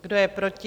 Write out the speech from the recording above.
Kdo je proti?